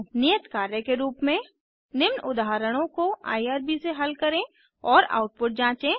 नियत कार्य के रूप में निम्न उदाहरणों को आईआरबी से हल करें और आउटपुट जाँचें